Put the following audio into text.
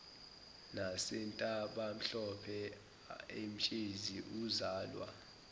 nasentabamhlophe emtshezi uzalwa